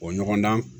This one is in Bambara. O ɲɔgɔn dan